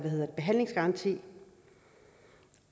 behandlingsgaranti